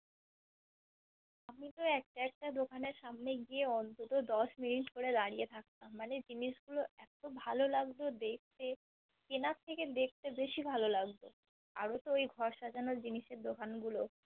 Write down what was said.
আমি তো একটা একটা দোকানএর সামনে গিয়ে অন্তত দশ minute কোরে দাঁড়িয়ে থাকতাম, মানে জিনিস গুলো এতো ভালো লাগতো দেখতে কেনার থেকে দেখতে বেশি ভালো লাগতো আরো তো ওই ঘর সাজানোর জিনিসের দোকান গুলো